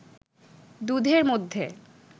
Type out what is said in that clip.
দুধের মধ্যে